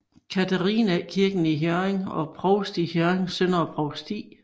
Catharinæ Kirke i Hjørring og provst i Hjørring Søndre Provsti